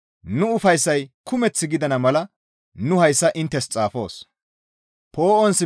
Nu ufayssay kumeth gidana mala nu hayssa inttes xaafoos.